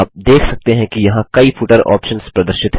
आप देख सकते हैं कि यहाँ कई फुटर ऑप्शन्स प्रदर्शित हैं